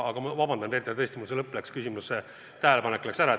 Aga vabandust, Peeter, tõesti, mul see lõpp kadus ära.